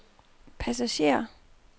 passager